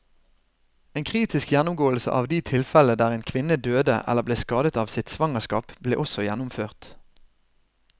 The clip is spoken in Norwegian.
En kritisk gjennomgåelse av de tilfellene der en kvinne døde eller ble skadet av sitt svangerskap, ble også gjennomført.